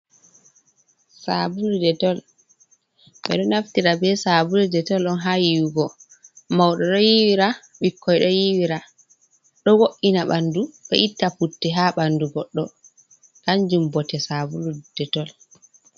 Sabulu detol ɓeɗo naftira be sabulu detol ɗon ha yiwugo, mauɗo ɗo yiwira, ɓikkoi, ɗo yiwira ɗo wo’ina ɓandu do itta putte ha ɓandu goɗɗo kanjum bote sabulu detol.